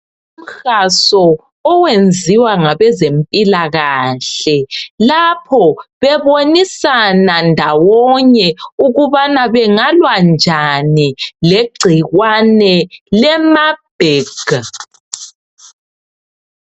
umhaso owenziwa ngabezempilakahle lapho bebonisana ndawonye ukubana bengalwa njani legcikwane le marburd